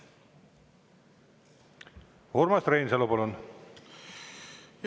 Urmas Reinsalu, palun!